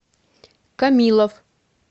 камилов